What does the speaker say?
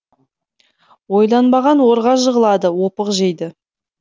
ойланбаған орға жығылады опық жейді